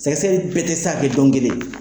Sɛgɛsɛgɛli bɛɛ tɛ se ka kɛ don kelen.